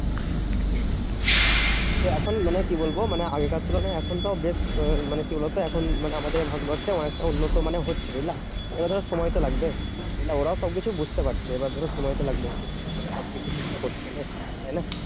তো এখন মানে কি বলবো? মানে আগেকার তুলনায় এখন তো বেশ আহ মানে কি বলতো? এখন মানে আমাদের ভারতবর্ষে অনেকটা উন্নত মানে হচ্ছে, বুঝলা? এবার ধরো সময় তো লাগবে, বুঝলা? ওরাও সবকিছু বুঝতে পারছে। এবার ধরো সময় তো লাগবেই। মানে সবকিছু ঠিকঠাক করতে গেলে, তাইনা?